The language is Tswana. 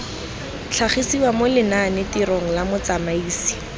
tlhagisiwa mo lenanetirong la motsamaisi